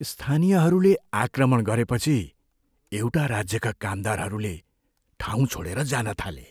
स्थानीयहरूले आक्रमण गरेपछि एउटा राज्यका कामदारहरूले ठाउँ छाडेर जान थाले।